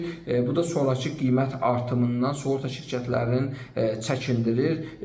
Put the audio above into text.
Bu da sonrakı qiymət artımından sığorta şirkətlərinin çəkindirir.